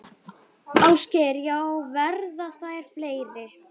Ásgeir: Já, verða þær fleiri?